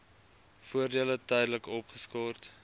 voordele tydelik opgeskort